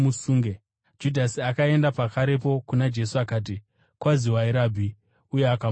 Judhasi akaenda pakarepo kuna Jesu akati, “Kwaziwai, Rabhi!” uye akamutsvoda.